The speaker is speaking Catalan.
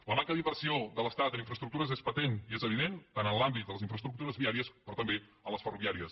la manca d’inversió de l’estat en infraestructures és patent i és evident en l’àmbit de les infraestructures viàries però també en les ferroviàries